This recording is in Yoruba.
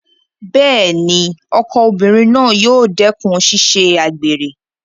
Bẹ́ẹ̀ni, ọkọ obìnrin náà yóò dẹ́kùn ṣíṣe àgbèrè